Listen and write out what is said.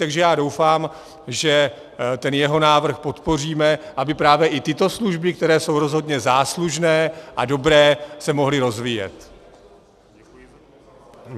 Takže já doufám, že ten jeho návrh podpoříme, aby právě i tyto služby, které jsou rozhodně záslužné a dobré, se mohly rozvíjet.